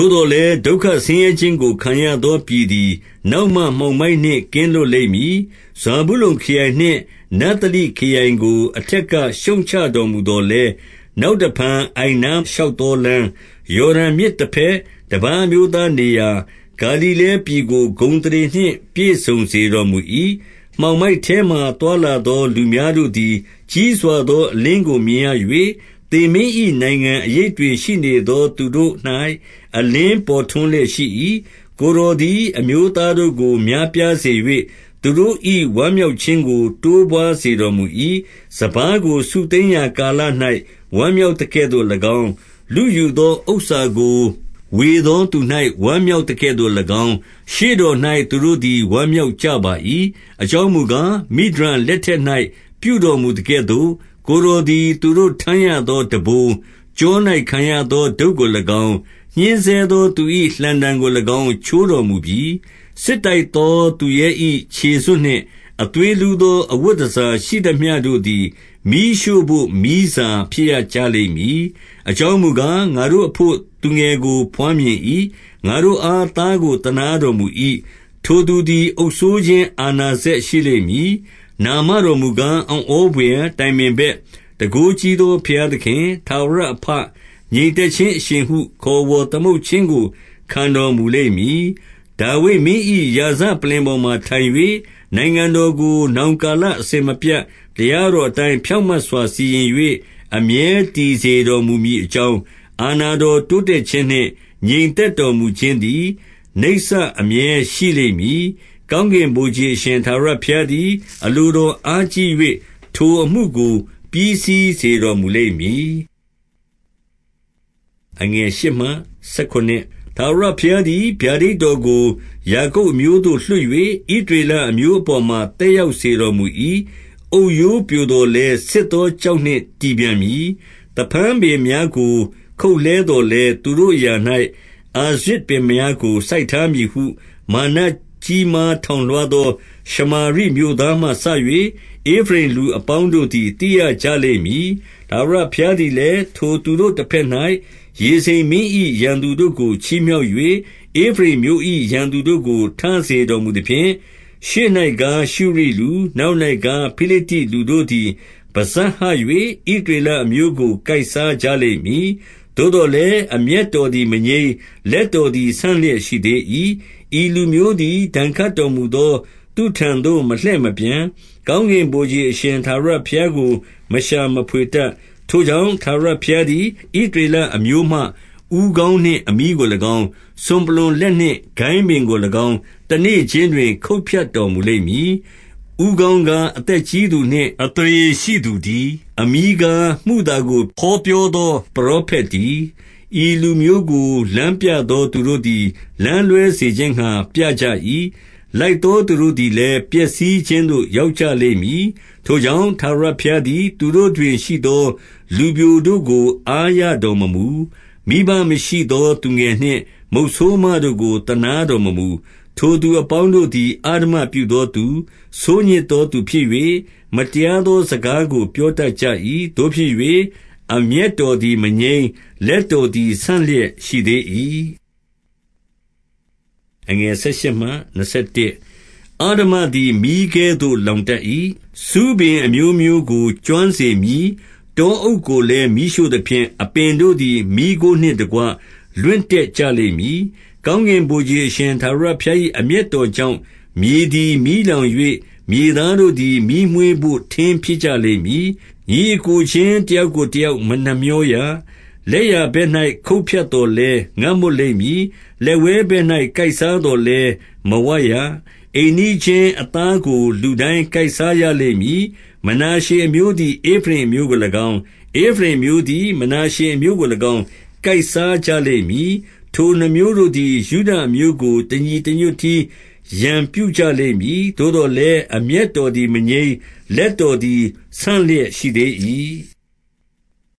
ို့သော်လည်း၊ ဒုက္ခဆင်းရဲခြင်းကို ခံရသော ပြည်သည် နောက်မှ မှောင်မိုက်နှင့်ကင်းလွတ်လိမ့်မည်။ ဇာဗုလုန်ခရိုင်နှင့် နဿလိခရိုင်ကို အထက်က ရှုတ်ချ တော်မူသော်လည်း၊ နောက်တဖန်အိုင်နားရှောက်သော လမ်း၊ ယော်ဒန်မြစ်တဘက်၊ တပါးအမျိုးသားနေရာ ဂါလိလဲပြည်ကို ဂုဏ်အသရေနှင့် ပြည့်စုံစေတော်မူ၏။ 2 မှောင်မိုက်ထဲမှာ သွားလာသောလူများတို့သည် ကြီးစွာသော အလင်းကိုမြင်ရ၍၊ သေမင်း၏နိုင်ငံအရိပ် တွင် ရှိနေသော သူတို့၌ အလင်း ပေါ်ထွန်းလျက်ရှိ၏။ 3 ကိုယ်တော်သည် အမျိုးသားတို့ကို များပြားစေ၍၊ သူတို့၏ ဝမ်းမြောက်ခြင်းကို တိုးပွားစေတော်မူ၏။ စပါးကို စုသိမ်းရာကာလ၌ ဝမ်းမြောက်သကဲ့သို့၎င်း၊ လုယူသော ဥစ္စာကို ဝေသောသူ ဝမ်းမြောက်သကဲ့သို့၎င်း၊ ရှေ့တော်၌ သူတို့သည် ဝမ်းမြောက်ကြပါ၏။ 4 အကြောင်းမူကား၊ မိဒျန်လက်ထက်၌ ပြုတော် မူသကဲ့သို့၊ ကိုယ်တော်သည် သူတို့ထမ်းရသောထမ်းဘိုး၊ ကျော၌ခံရသောတုတ်ကို၎င်း၊ ညှဉ်းဆဲသောသူ၏ လှံတံကို၎င်း ချိုးတော်မူပြီ။ 5 စစ်တိုက်သောသူရဲ၏ ခြေစွပ်နှင့် အသွေးလှသော အဝတ်တန်ဆာရှိသမျှတို့သည် မီးရှို့ဘို့မီးစာ ဖြစ်ရကြ လိမ့်မည်။ 6 အကြောင်းမူကား၊ ငါတို့အဘို့ သူငယ်ကို ဘွား မြင်၏။ ငါတို့အား သားကိုသနားတော်မူ၏။ ထိုသူသည် အုပ်စိုးခြင်း အာဏာစက်ရှိလိမ့်မည်။ နာမတော်ကာ အံ့ဩဘွယ်၊ တိုင်ပင်ဘက်၊ တန်ခိုးကြီးသောဘုရားသခင်၊ ထာဝရအဘ၊ ငြိမ်သက်ခြင်းအရှင်ဟု ခေါ်ဝေါ်သမုတ် ခြင်းကို ခံတော်မူလိမ့်မည်။ 7 ဒါ့ဝိဒ်မင်း၏ ရာဇပလ္လင်ပေါ်မှာထိုင်၍၊ နိုင်ငံ တော်ကို နောင်ကာလအစဉ်မပြတ်၊ တရားတော်အတိုင်း ဖြောင့်မတ်စွာစီရင်၍အမြဲတည်စေတော်မူမည်အကြောင်း၊ အာဏာတော် တိုးတက်ခြင်းနှင့် ငြိမ်သက်တော်မူခြင်း သည် နိစ္စအမြဲရှိလိမ့်မည်။ ကောင်းကင်ဗိုလ်ခြေအရှင် ထာဝရဘုရားသည် အလိုတော်အားကြီး၍၊ ထိုအမှုကို ပြီးစီးစေတော်မူလိမ့်မည်။ 8 ထာဝရဘုရားသည် ဗျာဒိတ်တော်ကို ယာကုပ် အမျိုးသို့လွှတ်၍၊ ဣသရေလအမျိုးအပေါ်မှာ သက် ရောက်စေတော်မူ၏။ 9 အုတ်ရိုးပြို သော်လည်း၊ ဆစ်သောကျောက်နှင့် တည်ပြန်မည်။ 10 သဖန်းပင်များကို ခုတ်လှဲသော်လည်း၊ သူတို့ အရာ၌ အာရဇ်ပင်များကို စိုက်ထားမည်ဟု မာနကြီးမား ထောင်လွားသော ရှမာရိမြို့သားမှစ၍ ဧဖရိမ်လူ အပေါင်းတို့သည် သိရကြလိမ့်မည်။ 11 ထာဝရဘုရားသည်လည်း၊ ထိုသူတို့တဘက်၌ ရေဇိန်မင်း၏ရန်သူတို့ကို ချီးမြှောက်၍၊ ဧဖရိမ်အမျိုး၏ ရန်သူတို့ကို ထစေတော်မူသဖြင့်၊ 12 ရှေ့၌ကား ရှုရိလူ၊ နောက်၌ကား ဖိလိတ္တိလူတို့ သည် ပစပ်ဟ၍၊ ဣသရေလအမျိုးကို ကိုက်စားကြ လိမ့်မည်။ သို့သော်လည်း၊ အမျက်တော်သည် မငြိမ်း၊ လက်တော်သည် ဆန့်လျက်ရှိသေး၏။ 13 ဤလူမျိုးသည် ဒဏ်ခတ်တော်မူသော သူထံသို့ မလှည့်မပြန်၊ ကောင်းကင်ဗိုလ်ခြေအရှင် ထာဝရဘုရားကို မရှာမဖွေတတ်။ 14 ထိုကြောင့်၊ ထာဝရဘုရားသည် ဣသရေလ အမျိုးမှ ဦးခေါင်းနှင့်အမြီးကို၎င်း၊ စွန်ပလွံလက်နှင့် ကိုင်းပင်ကို၎င်း တနေ့ခြင်းတွင် ခုတ်ဖြတ်တော်မူလိမ့် မည်။ 15 ဦးခေါင်းကား၊ အသက်ကြီးသူနှင့် အသရေရှိသူ တည်း။ အမြီးကား၊ မုသာကိုဟောပြောသော ပရော ဖက်တည်း။ 16 ဤလူမျိုးကို လမ်းပြသောသူတို့သည် လမ်းလွဲ စေခြင်းငှါ ပြကြ၏။ လိုက်သောသူတို့သည်လည်း ပျက်စီး ခြင်းသို့ ရောက်ကြလိမ့်မည်။ 17 ထိုကြောင့်၊ ထာဝရဘုရားသည် သူတို့တွင် ရှိသော လူပျိုတို့ကို အားရတော်မမူ။ မိဘမရှိသောသူငယ် နှင့် မုတ်ဆိုးမတို့ကို သနားတော်မမူ။ ထိုသူအပေါင်းတို့ သည် အဓမ္မပြုသောသူ၊ ဆိုးညစ်သောသူဖြစ်၍၊ မတရား သော စကားကိုပြောတတ်ကြ၏။ သို့ဖြစ်၍၊ အမျက်တော် သည် မငြိမ်း၊ လက်တော်သည် ဆန့်လျက် ရှိသေး၏။ 18 အဓမ္မသည် မီးကဲ့သို့ လောင်တတ်၏။ ဆူးပင် အမျိုးမျိုးကို ကျွမ်းစေမည်။ တောအုပ်ကိုလည်း မီးရှို့ သဖြင့်၊ အပင်တို့သည် မီးခိုးနှင့်တကွ လွင့်တတ်ကြလိမ့် မည်။ 19 ကောင်းကင်ဗိုလ်ခြေအရှင် ထာဝရဘုရား၏ အမျက်တော်ကြောင့်၊ မြေသည်မီးလောင်၍၊ မြေသားတို့ သည် မီးမွေးဘို့ ထင်းဖြစ်ကြလိမ့်မည်။ ညီအစ်ကိုချင်း တယောက်ကိုတယောက် မနှမြောရ။ 20 လက်ျာဘက်၌ ခုတ်ဖြတ်သော်လည်း၊ ငတ်မွတ် လိမ့်မည်။ လက်ဝဲဘက်၌ ကိုက်စားသော်လည်း မဝရ။ အိမ်နီးချင်းအသားကို လူတိုင်းကိုက်စားရလိမ့်မည်။ 21 မနာရှေအမျိုးသည် ဧဖရိမ်အမျိုးကို၎င်း၊ ဧဖရိမ် အမျိုးသည် မနာရှေအမျိုးကို၎င်း ကိုက်စားကြလိမ့်မည်။ ထိုနှစ်မျိုးတို့သည် ယုဒအမျိုးကို တညီတညွတ်တည်း ရန်ပြုကြလိမ့်မည်။ သို့သော်လည်း၊ အမျက်တော်သည် မငြိမ်း၊ လက်တော်သည် ဆန့်လျက်ရှိသေး၏။